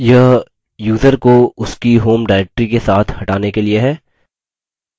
यह यूज़र को उसकी home directory के साथ हटाने के लिए है